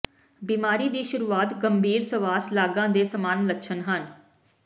ਬਿਮਾਰੀ ਦੀ ਸ਼ੁਰੂਆਤ ਗੰਭੀਰ ਸਵਾਸ ਲਾਗਾਂ ਦੇ ਸਮਾਨ ਲੱਛਣ ਹਨ